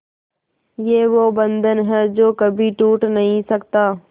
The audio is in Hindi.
ये वो बंधन है जो कभी टूट नही सकता